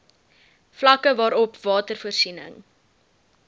vlakke waarop watervoorsiening